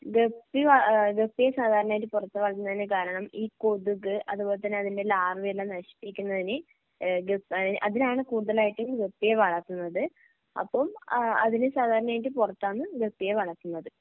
Guppy വള ഏഹ് ഗപ്പിയെ സാധാരണയായി പുറത്തു വളർത്തുന്നതിനു കാരണം ഈ കൊതുക് അതുപോലെതന്നെ അതിൻ്റെ ലാർവയെല്ലാം നശിപ്പിക്കുന്നതിന് ഏഹ് ഗ അതിന് അതിനാണ് കൂടുതലായിട്ട് ഈ ഗപ്പിയെ വളർത്തുന്നത് അപ്പം ഏഹ് അതിന് സാധാരണയായിട്ട് പുറത്താണ് ഗപ്പിയെ വളർത്തുന്നത്.